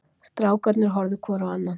Strákarnir horfðu hvor á annan.